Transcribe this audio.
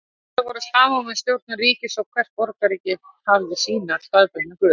Trúarbrögð voru samofin stjórnun ríkisins og hvert borgríki hafði sína staðbundnu guði.